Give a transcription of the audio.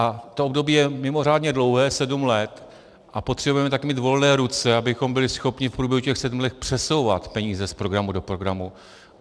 A to období je mimořádně dlouhé, sedm let, a potřebujeme taky mít volné ruce, abychom byli schopni v průběhu těch sedmi let přesouvat peníze z programu do programu.